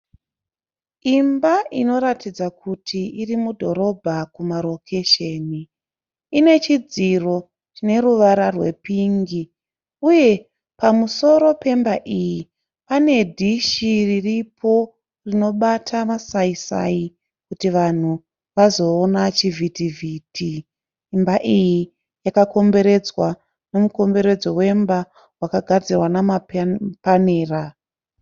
Imba inoratidza kuti iri mudhorobha kumarokesheni. Ine chidziro chine ruvara rwepingi uye pamusoro pemba iyi pane dhishi riripo rinobata masai sai kuti vanhu vazoona chivhiti vhiti. Imba iyi yakakomberedzwa nemukomberedzo wemba wakagadzirwa namapanera.